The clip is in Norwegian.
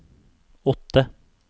åtte